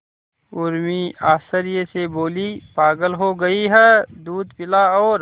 उर्मी आश्चर्य से बोली पागल हो गई है दूध पिला और